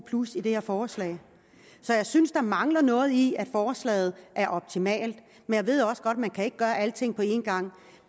plus i det her forslag så jeg synes at der mangler noget i at forslaget er optimalt men jeg ved også godt at man ikke kan gøre alting på en gang